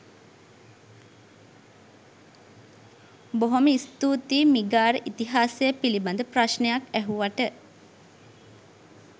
බොහොම ස්තුතියි මිගාර ඉතිහාසය පිළිඹඳ ප්‍රශ්නයක් ඇහුවට.